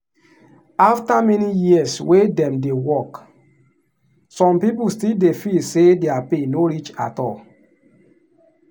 after many years wey dem dey work some people still dey feel say their pay no reach at all.